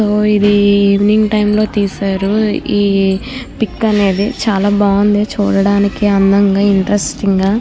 So ఇది evening time లో తీశారు పిక్ అనేది. చాలా బాగుంది. చూడడానికి అందంగా ఇంటరెస్టింగ్ గా.